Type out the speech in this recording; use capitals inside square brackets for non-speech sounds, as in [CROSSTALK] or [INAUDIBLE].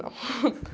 Não. [LAUGHS]